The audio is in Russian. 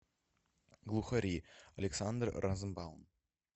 глухари александр розенбаум